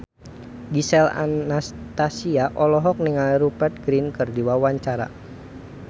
Gisel Anastasia olohok ningali Rupert Grin keur diwawancara